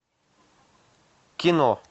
кино